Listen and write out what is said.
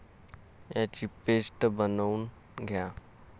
याची पेस्ट बनवून घ्या.